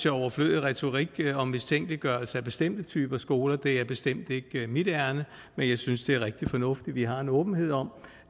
overflødig retorik og mistænkeliggørelse af bestemte typer skoler det er bestemt ikke mit ærinde men jeg synes det er rigtig fornuftigt at vi har en åbenhed om